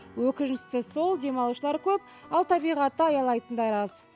өкініштісі сол демалушылар көп ал табиғатты аялайтындар аз